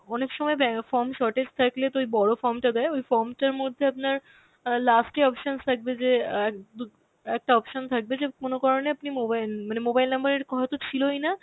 অনেক সময় দেখা form shortage থাকলে তো ওই বড় form টা দেয়, ওই form টার মধ্যে আপনার অ্যাঁ last এ options থাকবে যে এক~ দু~ একটা option থাকবে যে কোন কারনে আপনি mobile উম মানে mobile number এর কোন হয়তো ছিলই না